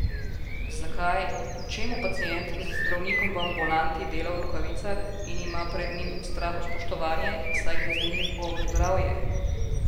Zakaj, čemu pacient z zdravnikom v ambulanti dela v rokavicah, in ima pred njim strahospoštovanje, saj gre za njegovo zdravje?